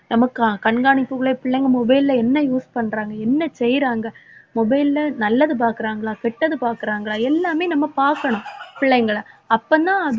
நமக்கா கண்காணிப்புக்குள்ளே பிள்ளைங்க mobile ல என்ன use பண்றாங்க என்ன செய்யறாங்க mobile ல நல்லது பாக்கறாங்களா கெட்டது பாக்கறாங்களா எல்லாமே நம்ம பாக்கணும் பிள்ளைங்களை அப்பந்தான் அது